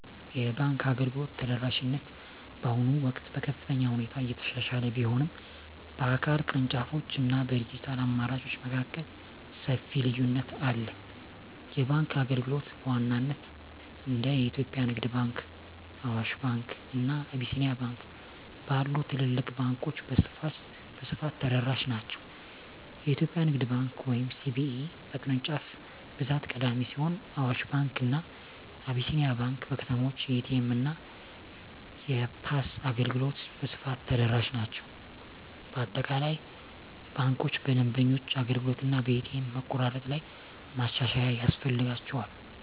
የባንክ አገልግሎት ተደራሽነት በአሁኑ ወቅት በከፍተኛ ሁኔታ እየተሻሻለ ቢሆንም፣ በአካል ቅርንጫፎች እና በዲጂታል አማራጮች መካከል ሰፊ ልዩነት አለ። የባንክ አገልግሎቶች በዋናነት እንደ የኢትዮጵያ ንግድ ባንክ፣ አዋሽ ባንክ፣ እና አቢሲኒያ ባንክ ባሉ ትልልቅ ባንኮች በስፋት ተደራሽ ናቸው። የኢትዮጵያ ንግድ ባንክ (CBE) በቅርንጫፍ ብዛት ቀዳሚ ሲሆን፣ አዋሽ ባንክ እና አቢሲኒያ ባንክ በከተሞች የኤ.ቲ.ኤም እና የፖስ አገልግሎት በስፋት ተደራሽ ናቸው። በአጠቃላይ ባንኮች በደንበኞች አገልግሎት እና በኤ.ቲ.ኤም መቆራረጥ ላይ ማሻሻያ ያስፈልጋቸዋል።